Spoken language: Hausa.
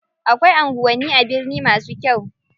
Akwai anguwanni a birni masu kyau.